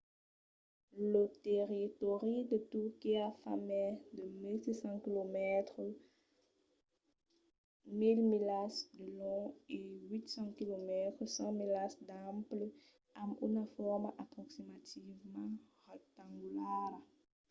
lo territòri de turquia fa mai de 1 600 quilomètres 1 000 milas de long e 800 km 500 milas d’ample amb una forma aproximativament rectangulara